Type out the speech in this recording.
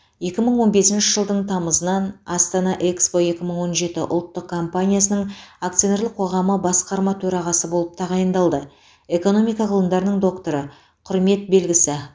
екі мың он бесінші жылдың тамызынан астана экспо екі мың он жеті ұлттық компаниясының акционерлік қоғамы басқарма төрағасы болып тағайындалды экономика ғылымдарының докторы құрмет белгісі